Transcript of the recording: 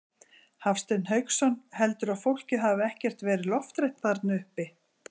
Hafsteinn Hauksson: Heldurðu að fólkið hafi ekkert verið lofthrætt þarna uppi?